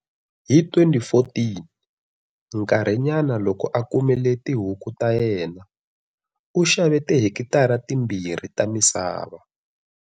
Hi 2014, nkarhi nyana loko a kumile tihuku ta yena, u xave tihekitara timbirhi ta misava.